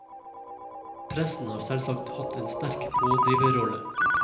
Pressen har selvsagt hatt en sterk pådriverrolle.